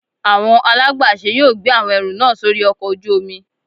Awọn alagbàṣe yóò gbe awọn ẹru naa sori ọkò ojú omí